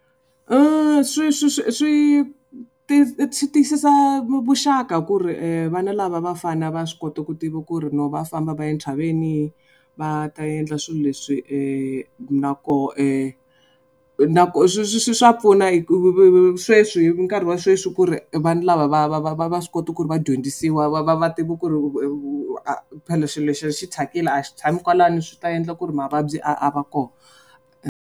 Swi swi swi swi swi tiyisa vuxaka ku ri vana lava vafana va swi kota ku tiva ku ri no va famba va ya entshaveni va ta endla swilo leswi na koho na ku swa pfuna hi ku sweswi nkarhi wa sweswi ku ri vanhu lava va va va va va swi kota ku ri va dyondzisiwa va va va tiva ku ri a phela xilo lexi xi thyakile a xi tshami kwalano swi ta endla ku ri mavabyi a a va kona.